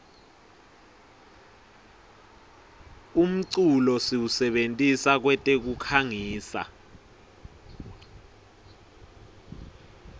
umculo siwusebentisa kwetekukhangisa